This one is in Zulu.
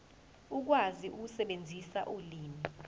ukwazi ukusebenzisa ulimi